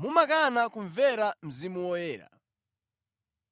mumakana kumvera Mzimu Woyera: